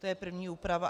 To je první úprava.